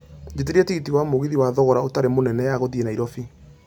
jĩtĩria tigiti wa mũgithi wa thogora ũtarĩ mũnene ya gũthiĩ Nairobi